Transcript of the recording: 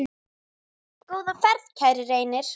Góða ferð, kæri Reynir.